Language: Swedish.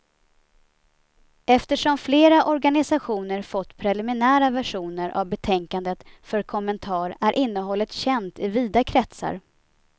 Eftersom flera organisationer fått preliminära versioner av betänkandet för kommentar är innehållet känt i vida kretsar.